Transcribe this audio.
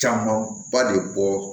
Camanba de bɔ